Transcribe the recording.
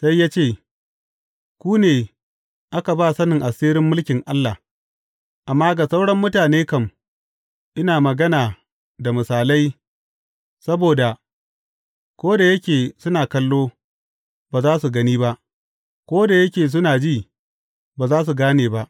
Sai ya ce, Ku ne aka ba sanin asirin mulkin Allah, amma ga sauran mutane kam, ina magana da misalai, saboda, ko da yake suna kallo, ba za su gani ba, ko da yake suna ji, ba za su gane ba.’